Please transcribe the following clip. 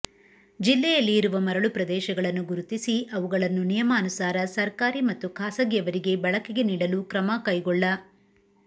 ಜಿಲ್ಲೆಯಲ್ಲಿ ಇರುವ ಮರಳು ಪ್ರದೇಶಗಳನ್ನು ಗುರುತಿಸಿ ಅವುಗಳನ್ನು ನಿಯಮಾನುಸಾರ ಸರ್ಕಾರಿ ಮತ್ತು ಖಾಸಗಿಯವರಿಗೆ ಬಳಕೆಗೆ ನೀಡಲು ಕ್ರಮ ಕೈಗೊಳ್್ಳಿ